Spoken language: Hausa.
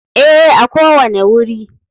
Ee, a kowane wuri.